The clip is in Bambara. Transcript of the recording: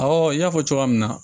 n y'a fɔ cogoya min na